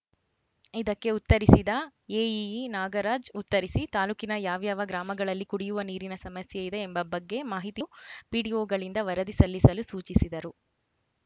ಇದಕ್ಕೆ ಉತ್ತರಿಸಿದ ಎಇಇ ನಾಗರಾಜ್‌ ಉತ್ತರಿಸಿ ತಾಲೂಕಿನ ಯಾವ್ಯಾವ ಗ್ರಾಮಗಳಲ್ಲಿ ಕುಡಿಯುವ ನೀರಿನ ಸಮಸ್ಯೆಯಿದೆ ಎಂಬ ಬಗ್ಗೆ ಮಾಹಿತಿ ವೀಡಿಯೊಗಳಿಂದ ವರದಿ ಸಲ್ಲಿಸಲು ಸೂಚಿಸಿದರು